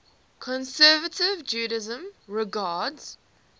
conservative judaism regards